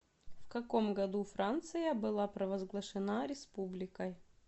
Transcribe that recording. в каком году франция была провозглашена республикой